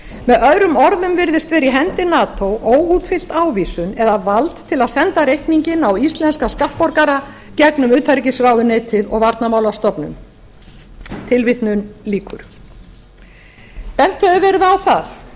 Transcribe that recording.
með öðrum orðum virðist vera í hendi mati óútfyllt ávísun eða vald til að senda reikninginn á íslenska skattborgara gegnum utanríkisráðuneytið og varnarmálastofnun bent hefur verið á